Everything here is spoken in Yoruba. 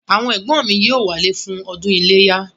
Àwọn ẹ̀gbọ́n mi yóò wálé fún ọdún iléyá